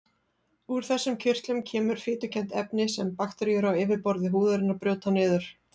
Úr þessum kirtlum kemur fitukennt efni sem bakteríur á yfirborði húðarinnar brjóta niður.